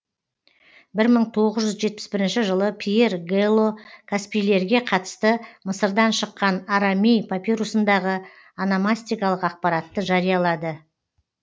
бір мың тоғыз жүз жетпіс бірінші жылы пьер гэло каспийлерге қатысты мысырдан шыққан арамей папирусындағы ономастикалық ақпаратты жариялады